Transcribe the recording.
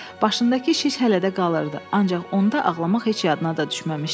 Başındakı şiş hələ də qalırdı, ancaq onda ağlamaq heç yadına da düşməmişdi.